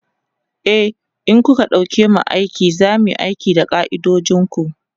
e in kuka ɗauke mu aiki zamuyi aiki da ka'idojinku